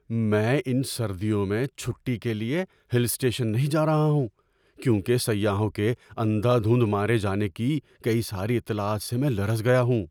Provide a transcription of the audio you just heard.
میں ان سردیوں میں چھٹی کے لیے ہل اسٹیشن نہیں جا رہا ہوں کیونکہ سیاحوں کے اندھا دھند مارے جانے کی کئی ساری اطلاعات سے میں لرز گیا ہوں۔